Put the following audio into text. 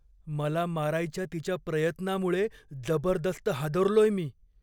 मला मारायच्या तिच्या प्रयत्नामुळे जबरदस्त हादरलोय मी.